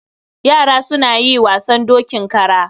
Yara suna yi wasan dokin kara.